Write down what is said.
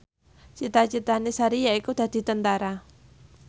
cita citane Sari yaiku dadi Tentara